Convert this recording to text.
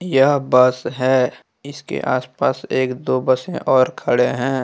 यह बस है इसके आस पास एक दो बसे और खड़े हैं।